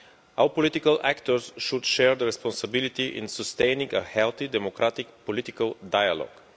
All political actors should share the responsibility in sustaining a healthy democratic political dialogue.